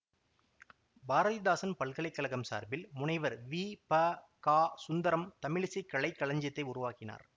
பாரதிதாசன் பல்கலை கழகம் சார்பில் முனைவர் வீ ப கா சுந்தரம் தமிழிசைக் கலைக்களஞ்சியத்தை உருவாக்கினார்